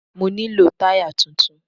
Mo nílò táyà tuntun.